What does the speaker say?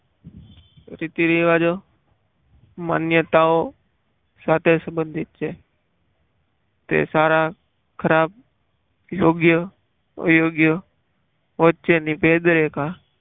રિદ્ધિ રિવાજો માન્યતાઓ સાથે સંબંધિત છે તે સારા ખરાબ યોગ્ય અયોગ્ય વચ્ચેની ભેદરેખા